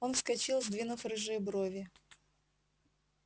он вскочил сдвинув рыжие брови